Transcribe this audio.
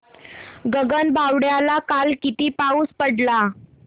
गगनबावड्याला काल किती पाऊस पडला